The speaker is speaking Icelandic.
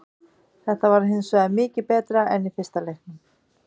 Þetta var hinsvegar mikið betra en í fyrsta leiknum.